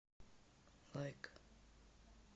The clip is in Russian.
лайк